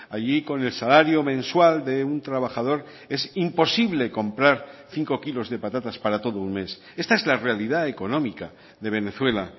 allí con el salario mensual de un trabajador es imposible comprar cinco kilos de patatas para todo un mes esta es la realidad económica de venezuela